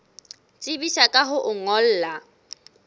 tsebisa ka ho o ngolla